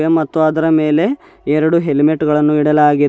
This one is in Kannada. ಮತ್ತು ಅದರ ಮೇಲೆ ಎರಡು ಹೆಲ್ಮೆಟ್ ಗಳನ್ನು ಇಡಲಾಗಿದೆ.